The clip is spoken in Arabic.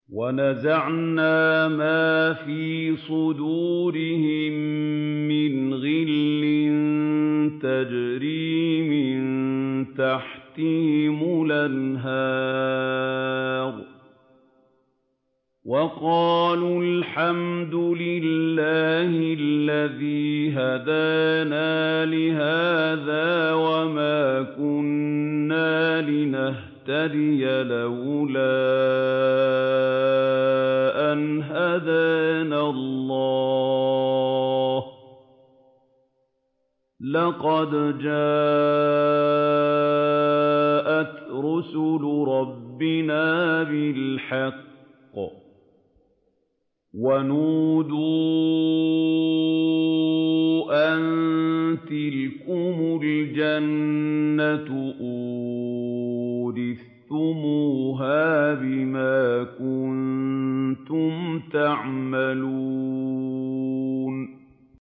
وَنَزَعْنَا مَا فِي صُدُورِهِم مِّنْ غِلٍّ تَجْرِي مِن تَحْتِهِمُ الْأَنْهَارُ ۖ وَقَالُوا الْحَمْدُ لِلَّهِ الَّذِي هَدَانَا لِهَٰذَا وَمَا كُنَّا لِنَهْتَدِيَ لَوْلَا أَنْ هَدَانَا اللَّهُ ۖ لَقَدْ جَاءَتْ رُسُلُ رَبِّنَا بِالْحَقِّ ۖ وَنُودُوا أَن تِلْكُمُ الْجَنَّةُ أُورِثْتُمُوهَا بِمَا كُنتُمْ تَعْمَلُونَ